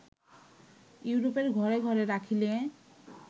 ইউরোপের ঘরে ঘরে রাখিলে